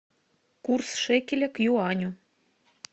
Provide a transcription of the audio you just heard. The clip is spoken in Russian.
курс шекеля к юаню